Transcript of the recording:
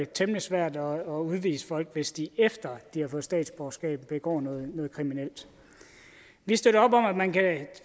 temmelig svært at udvise folk hvis de efter de har fået statsborgerskab begår noget kriminelt vi støtter op om at man kan